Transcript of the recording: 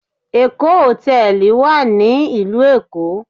Èkó Hotel wà ní ilú Èkó